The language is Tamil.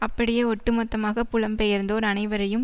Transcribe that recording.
அப்படியே ஒட்டு மொத்தமாக புலம்பெயர்ந்தோர் அனைவரையும்